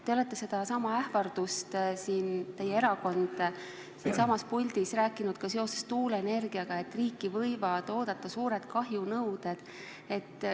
Teie erakond on sellesamaga ähvardanud siinsamas puldis ka seoses tuuleenergia probleemidega: riiki võivad oodata suured kahjunõuded.